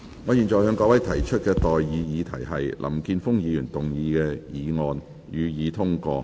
我現在向各位提出的待議議題是：林健鋒議員動議的議案，予以通過。